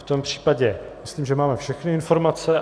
V tom případě myslím, že máme všechny informace.